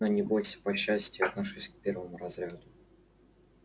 но не бойся по счастью я отношусь к первому разряду